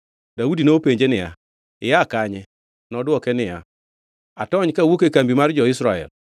Daudi nopenje niya, “Ia kanye?” Nodwoke niya, “Atony kawuok e kambi mar jo-Israel.”